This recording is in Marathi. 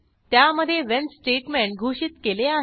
त्यामधे व्हेन स्टेटमेंट घोषित केले आहे